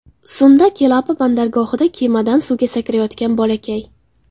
Sunda Kelapa bandargohida kemadan suvga sakrayotgan bolakay.